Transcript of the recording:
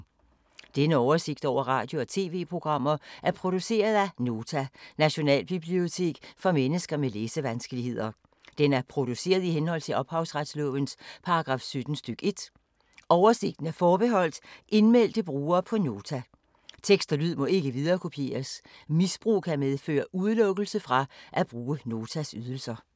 Denne oversigt over radio og TV-programmer er produceret af Nota, Nationalbibliotek for mennesker med læsevanskeligheder. Den er produceret i henhold til ophavsretslovens paragraf 17 stk. 1. Oversigten er forbeholdt indmeldte brugere på Nota. Tekst og lyd må ikke viderekopieres. Misbrug kan medføre udelukkelse fra at bruge Notas ydelser.